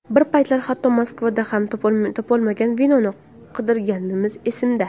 Bir paytlar, hatto Moskvadan ham topolmagan vinoni qidirganimiz esimda.